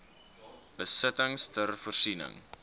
besittings ter voorsiening